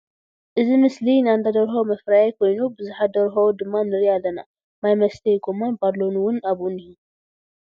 እዚ ምስሊ ናይ ኣንዳ ደርሆ ምፍርያይ ኮይኑ ብዙሓት ደርሆ ድማ ንርኢ ኣለና ማይ ምስተይ ጎማን ባሎ እዉን ኣብኡ እንሄ ።